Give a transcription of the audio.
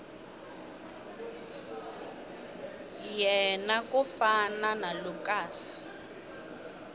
yena ku fana na lucas